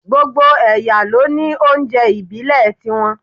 Gbogbo ẹ̀yà ló ní oúnjẹ ìbílẹ̀ tí wọ́n